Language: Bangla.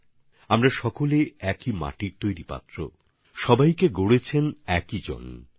অর্থাৎ আমরা সবাই একই মাটির পাত্র আমাদের সবাইকে একজনই তৈরি করেছেন